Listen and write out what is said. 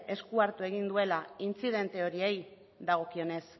esku hartu egun duela intzidente horiei dagokienez